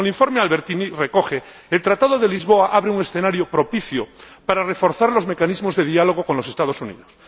Como el informe Albertini recoge, el Tratado de Lisboa abre un escenario propicio para reforzar los mecanismos de diálogo con los Estados Unidos.